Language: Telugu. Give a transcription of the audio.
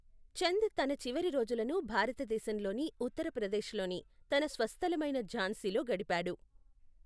చంద్ తన చివరి రోజులను భారతదేశంలోని ఉత్తర ప్రదేశ్లోని తన స్వస్థలమైన ఝాన్సీలో గడిపాడు.